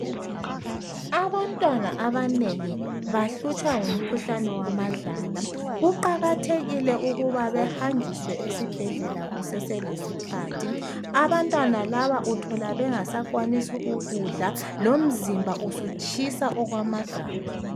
Abantwana abanengi bahlutshwa ngumkhuhlane wamadlala; kuqakathekile ukuba behanjiswe esibhedlela kuseselesikhathi. Abantwana laba uthola bengasakwanisi ukudla lomzimba usutshisa okwamagama